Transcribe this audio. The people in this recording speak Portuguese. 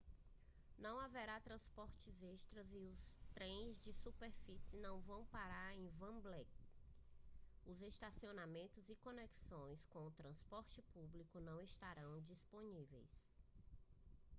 não haverá transporte extra e os trens de superfície não vão parar em wembley os estacionamentos e conexões com o transporte público não estarão disponíveis